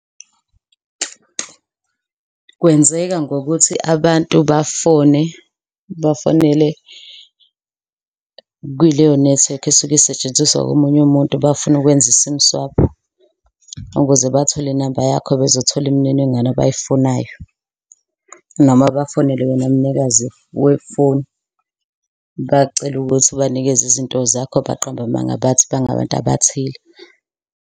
Kwenzeka ngokuthi abantu bafone bafonele kuleyo nethiwekhi esuke isetshenziswa omunye umuntu. Bafune ukwenza i-sim swap ukuze bathole inamba yakho bezothola imininingwane abayifunayo. Noma bafonele wena mnikazi wefoni bacele ukuthi ubanikeze izinto zakho baqambe amanga bathi bangabantu abathile.